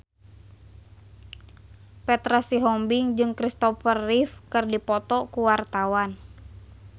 Petra Sihombing jeung Kristopher Reeve keur dipoto ku wartawan